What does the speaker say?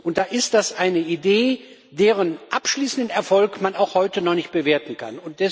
Und da ist das eine Idee, deren abschließenden Erfolg man heute noch nicht bewerten kann.